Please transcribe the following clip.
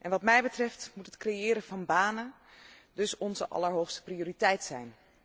Wat mij betreft moet het creëren van banen dus onze allerhoogste prioriteit zijn.